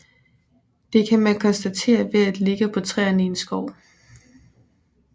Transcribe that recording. Det kan man konstatere ved at kigge på træerne i en skov